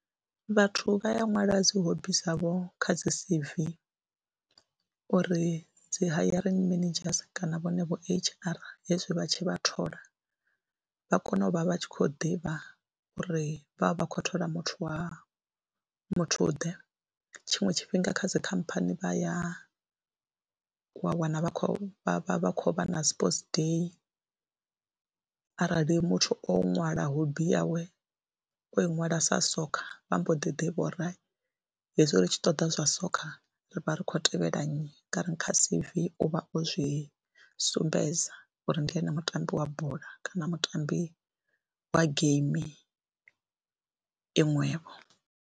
Vhathu vha ya ṅwala dzi hobby dzavho kha dzi C_V uri dzi hiring managers kana vhone vho H_R hezwi vha tshi vha thola vha kone u vha vha tshi khou ḓivha uri vha vha vha khou thola muthu wa muthuḓe, tshiṅwe tshifhinga kha dzi khamphani vha ya wa wana vha khou vha vha vha khou vha na sports day arali muthu o ṅwala hobby yawe o i ṅwala sa soccer vha mbo ḓi ḓivha uri ha hezwi ri tshi ṱoḓa zwa soccer ri vha ri khou tevhela nnyi, ngauri kha C_V u vha o zwi sumbedza uri ndi ene mutambi wa bola kana mutambi wa geimi iṅwevho.